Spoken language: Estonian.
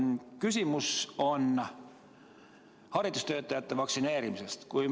Küsimus on haridustöötajate vaktsineerimise kohta.